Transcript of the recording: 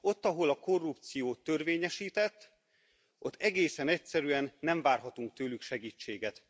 Ott, ahol a korrupció törvényesített, ott egészen egyszerűen nem várhatunk tőlük segítséget.